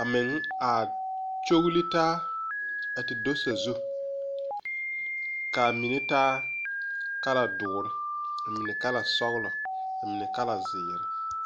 a meŋ a kyogle taa a te do sazu kaa mine taa kala duure ka a mine kala sɔglɔ a mine kala zeere.